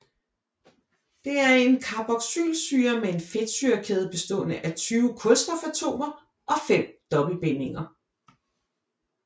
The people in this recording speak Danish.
Det er en carboxylsyre med en fedtsyrekæde bestående af 20 kulstofatomer og fem dobbeltbindinger